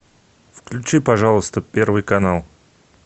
включи пожалуйста первый канал